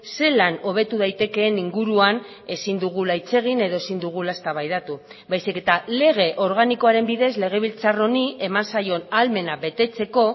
zelan hobetu daitekeen inguruan ezin dugula hitz egin edo ezin dugula eztabaidatu baizik eta lege organikoaren bidez legebiltzar honi eman zaion ahalmena betetzeko